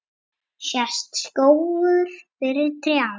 Sést skógur fyrir trjám?